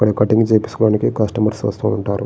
ఇక్కడ కటింగ్ చేపించుకోవడానికి కస్టమర్స్ వస్తూ ఉంటారు.